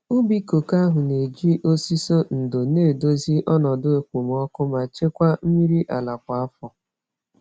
Ubi koko ahụ na-eji osisi ndò na-edozi ọnọdụ okpomọkụ ma chekwaa mmiri ala kwa afọ.